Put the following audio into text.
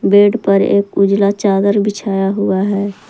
Bed पर एक उजला चादर बिछाया हुआ है।